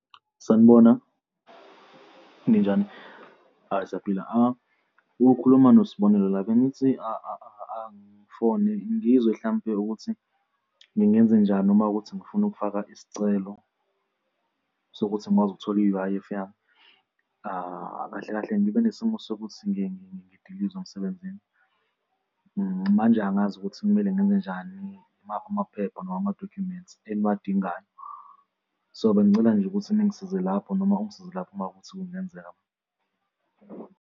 Sanibona, ninjani? Ayi, siyaphila. Ukhuluma noSibonelo la, bengithi angifone ngizwe hlampe ukuthi ngingenzenjani uma kuwukuthi ngifune ukufaka isicelo sokuthi ngikwazi ukuthola i-U_I_F yami. Kahle kahle ngibe nesimo sokuthi ngidilizwe emsebenzini, manje angazi ukuthi kumele ngenzenjani imaphi amaphepha noma amadokhumenti engiwadingayo. So bengicela nje ukuthi ningisize lapho noma ungsize lapho uma kuwukuthi kungenzeka.